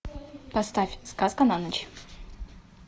поставь сказка на ночь